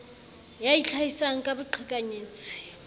d ya itlhahisang ka boqhekanyetsi